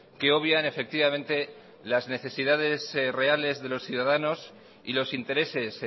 que obvian efectivamente las necesidades reales de los ciudadanos y los intereses